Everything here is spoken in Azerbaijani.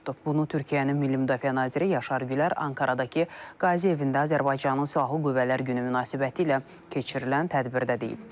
Bunu Türkiyənin Milli Müdafiə naziri Yaşar Gülər Ankaradakı Qazi evində Azərbaycanın Silahlı Qüvvələr Günü münasibətilə keçirilən tədbirdə deyib.